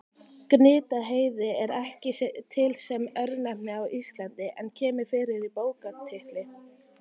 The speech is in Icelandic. Gnitaheiði er ekki til sem örnefni á Íslandi en kemur fyrir í bókartitli.